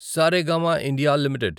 Saregama India limited